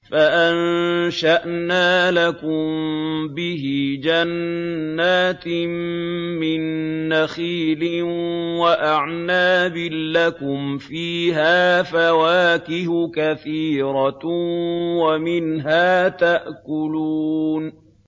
فَأَنشَأْنَا لَكُم بِهِ جَنَّاتٍ مِّن نَّخِيلٍ وَأَعْنَابٍ لَّكُمْ فِيهَا فَوَاكِهُ كَثِيرَةٌ وَمِنْهَا تَأْكُلُونَ